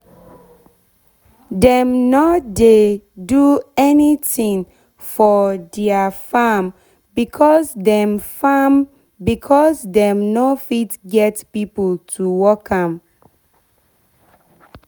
dem nor do anytin for deir farm becos dem farm becos dem nor fit get pipo to work am